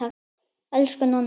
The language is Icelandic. Elsku Nonni.